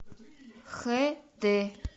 хд